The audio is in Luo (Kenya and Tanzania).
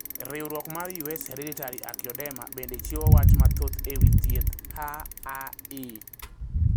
Riuruok mar US Hereditary angioedema bende chiwo wach mathoth e wi thieth HAE